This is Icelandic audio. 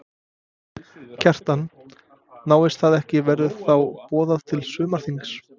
Kjartan: Náist það ekki verður þá boðað til sumarþings?